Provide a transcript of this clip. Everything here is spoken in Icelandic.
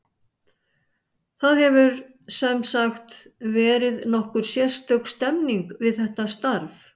Það hefur, sem sagt, verið nokkuð sérstök stemming við þetta starf.